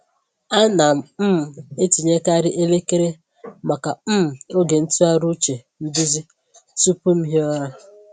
Ana m um etinyekarị elekere maka um oge ntụgharị uche nduzi tupu m hie ụra.